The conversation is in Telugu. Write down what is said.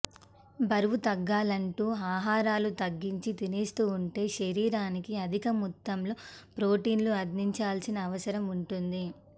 బరువు తగ్గాలంటూ ఆహారాలు తగ్గించి తినేస్తూవుంటే శరీరానికి అధిక మొత్తంలో ప్రొటీన్లు అందించాల్సిన అవసరం వుంటుంది